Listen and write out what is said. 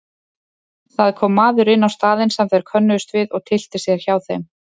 Það kom maður inn á staðinn sem þeir könnuðust við og tyllti sér hjá þeim.